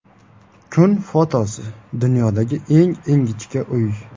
Kun fotosi: Dunyodagi eng ingichka uy.